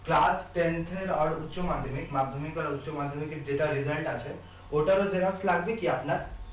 class tenth আর উচ্চ মাধ্যমিক মাধ্যমিক আর উচ্চ মাধ্যমিকের যেটা result আছে ওটারও xerox লাগবে কি আপনার